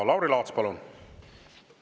Lauri Laats, palun!